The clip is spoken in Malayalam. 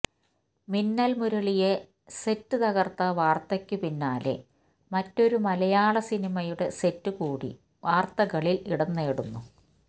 മിന്നൽ മുരളിയെ സെറ്റ് തകർത്ത വാർത്തയ്ക്കു പിന്നാലെ മറ്റൊരു മലയാള സിനിമയുടെ സെറ്റ് കൂടി വാർത്തകളിൽ ഇടം നേടുന്നു